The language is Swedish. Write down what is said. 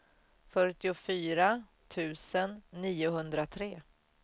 fyrtiofyra tusen niohundratre